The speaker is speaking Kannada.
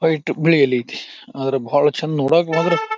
ವೈಟ್ ಬಿಳಿಯಲ್ಲಿ ಐತ್ತಿ ಅದರ ಬಹಳ ಚೆಂದ ನೋಡಕ್ಕೆ ಮಾತ್ರ--